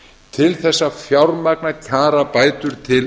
til þess að fjármagna kjarabætur til